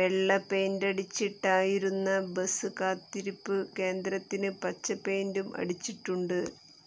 വെള്ള പെയിന്റടിച്ചിട്ടുണ്ടായിരുന്ന ബസ് കാത്തിരിപ്പ് കേന്ദ്രത്തിന് പച്ച പെയിന്റും അടിച്ചിട്ടുണ്ട്